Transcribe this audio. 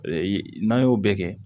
N'an y'o bɛɛ kɛ